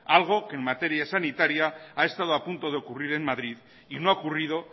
algo que en materia sanitaria ha estado a punto de ocurrir en madrid y no ha ocurrido